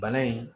Bana in